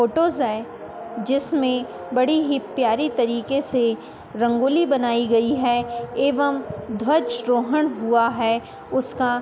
photos है जिसमें बड़ी ही प्यारी तरीके से रंगोली बनाई गई है एवं ध्वजरोहन हुआ है उसका --